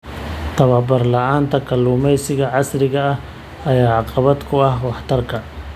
Tababar la'aanta kalluumeysiga casriga ah ayaa caqabad ku ah waxtarka.